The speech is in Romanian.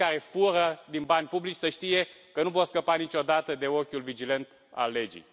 Cei care fură din bani publici să știe că nu vor scăpa niciodată de ochiul vigilent al legii.